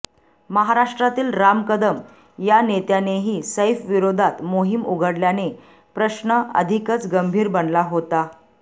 महाराष्ट्रातील राम कदम या नेत्यानेही सैफविरोधात मोहोम उघडल्याने प्रश्न अधिकच गंभीर बनला होता